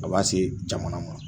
A b'a se jamana ma